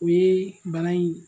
O ye bana in